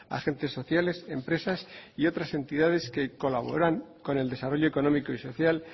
agentes sociales empresas y otras entidades que colaboran con el desarrollo económico y social